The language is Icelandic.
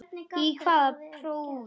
Í hvaða prófi varstu?